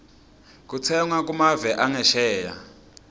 kutsenga kumave angesheya